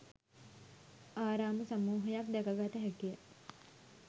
ආරාම සමූහයක් දැක ගත හැකිය.